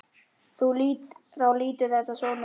Þá lítur þetta svona út